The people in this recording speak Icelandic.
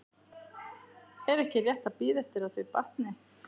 Er ekki rétt að bíða eftir að þau batni?